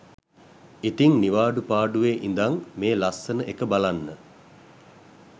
ඉතිං නිවාඩු පාඩුවේ ඉදන් මේ ලස්සනඑක බලන්න